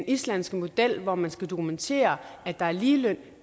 islandske model hvor man skal dokumentere at der er ligeløn